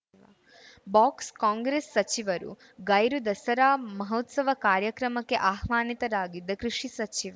box Congress ಸಚಿವರು ಗೈರು ದಸರಾ ಮಹೋತ್ಸವ ಕಾರ್ಯಕ್ರಮಕ್ಕೆ ಆಹ್ವಾನಿತರಾಗಿದ್ದ ಕೃಷಿ ಸಚಿವ